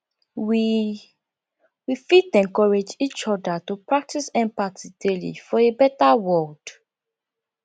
we we fit encourage each other to practice empathy daily for a beta world